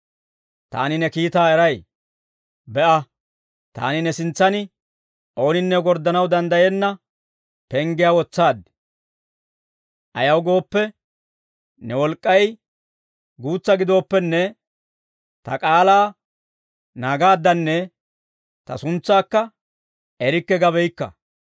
Taani ne kiitaa eray. Be'a, taani ne sintsan ooninne gorddanaw danddayenna penggiyaa wotsaad; ayaw gooppe, ne wolk'k'ay guutsa gidooppenne, ta k'aalaa naagaaddanne ta suntsaakka erikke gabeykka.